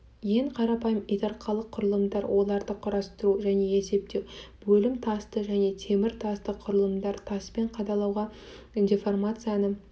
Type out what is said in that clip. ең қарапайым итарқалық құрылымдар оларды құрастыру және есептеу бөлім тасты және темір тасты құрылымдар таспен қалаудағы деформацияны